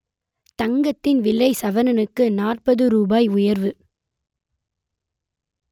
தங்கத்தின் விலை சவரனுக்கு நாற்பது ரூபாய் உயர்வு